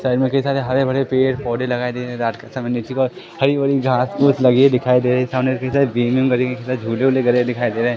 के हिसाब के हरे भरे पेड़ पौधे लगाए दे रहे रात के समय हरि भरी घास पूस लगी दिखाई दे रही है सामने से झूले वूले गड़े दिखाई दे रहे हैं।